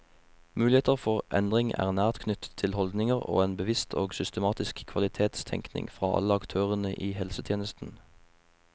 Muligheter for endring er nært knyttet til holdninger og en bevisst og systematisk kvalitetstenkning fra alle aktørene i helsetjenesten.